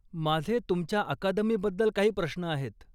माझे तुमच्या अकादमीबद्दल काही प्रश्न आहेत.